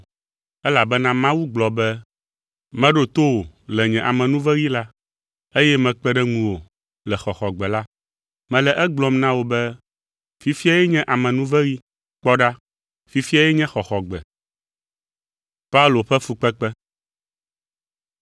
Elabena Mawu gblɔ be, “Meɖo to wò le nye amenuveɣi la, eye mekpe ɖe ŋuwò le xɔxɔgbe la.” Mele egblɔm na wò be, fifiae nye amenuveɣi, kpɔ ɖa fifiae nye xɔxɔgbe!